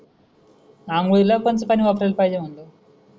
आंघोळीला कोणत पाणी वापरायला पाहिजे म्हणल.